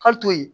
Hali to yen